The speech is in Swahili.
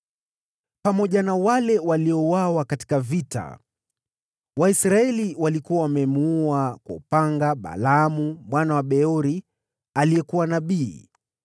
Pamoja na wale waliouawa katika vita, Waisraeli walikuwa wamemuua kwa upanga Balaamu mwana wa Beori aliyekuwa mchawi.